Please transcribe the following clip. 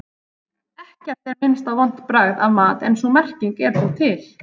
Ekkert er minnst á vont bragð af mat en sú merking er þó til.